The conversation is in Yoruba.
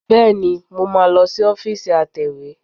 Bẹ́ẹ̀ni, mo máa lọ sí ọ́fíìsì atẹ̀wé